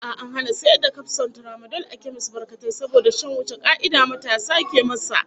A'a, an hana sayar da kafson tramadol a kemis batkatai saboda shan wuce ka'ida matasa ke masa,